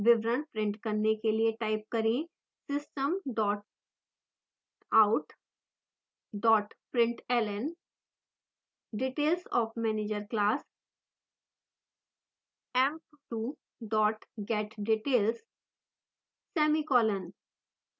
विवरण print करने के लिए type करें: system out println details of manager class: emp2 getdetails semicolon